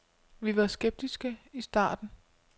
Vi var skeptiske i starten.